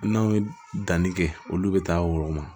N'anw ye danni kɛ olu bɛ taa wolo ma